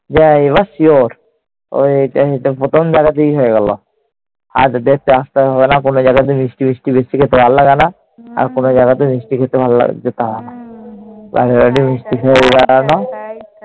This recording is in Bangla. যে এবার sure, প্রথম দেখাতেই হয়ে গেল। আর দেখতে আসতে হবে না। কোন জায়গাতে মিষ্টি ফিষ্টি বেশি খেতে ভাললাগেনা। আর কোন জায়গাতে মিষ্টি খেতে যেতে হবেনা।